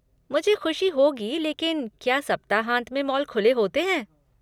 मुझे खुशी होगी लेकिन क्या सप्ताहांत में मॉल खुले होते हैं?